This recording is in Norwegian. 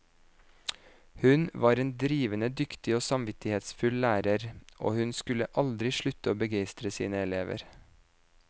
Hun var en drivende dyktig og samvittighetsfull lærer, og hun skulle aldri slutte å begeistre sine elever.